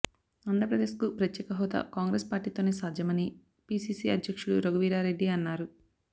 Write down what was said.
ఆంధ్రప్రదేశ్కు ప్రత్యేక హోదా కాంగ్రెస్ పార్టీతోనే సాధ్యమని పీసీసీ అధ్యక్షుడు రఘువీరారెడ్డి అన్నారు